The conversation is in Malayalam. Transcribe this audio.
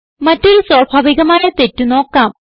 മറ്റൊരു സ്വാഭാവികമായ തെറ്റ് നോക്കാം